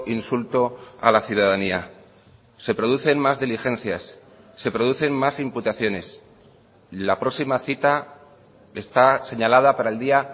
insulto a la ciudadanía se producen más diligencias se producen más imputaciones la próxima cita está señalada para el día